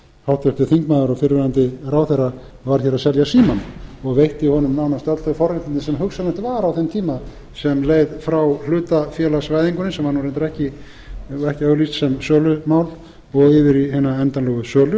háttvirtur þingmaður og fyrrverandi ráðherra var hér að selja símann og veitti honum nánast öll þau forréttindi sem hugsanlegt var á þeim tíma sem leið frá hlutafélagsvæðingunni sem var þó reyndar ekki auglýst sem sölumál og yfir í hina endanlegu